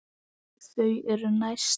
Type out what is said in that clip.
Þau eru næst.